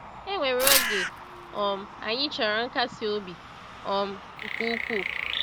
E nwere oge um anyị chọrọ nkasi obi um nke ukwuu.